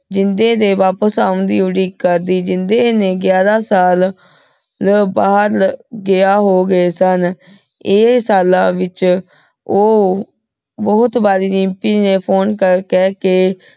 ਜਿੰਦੇ ਦੇ ਵਾਪਿਸ ਆਉਣ ਦੀ ਉਡੀਕ ਕਰਦੀ ਜਿੰਦੇ ਨੇ ਗਾਯਾਰਾਂ ਸਾਲ ਊ ਬਹਿਰ ਗਿਆ ਹੋ ਗਏ ਸਨ ਇਹ ਸਾਲਾਂ ਵਿਚ ਊ ਬੋਹਤ ਬਾਰ ਰਿਮਪੀ ਨੇ phone ਕਰ ਕਰ ਕੇ